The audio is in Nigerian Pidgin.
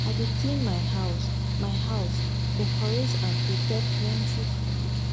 i dey clean my house my house decorate and prepare plenty food